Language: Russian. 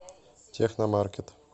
техно маркет